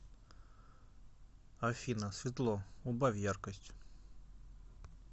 афина светло убавь яркость